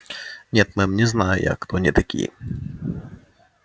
нет мэм не знаю я кто они такие